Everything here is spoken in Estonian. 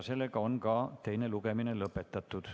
Teine lugemine on lõpetatud.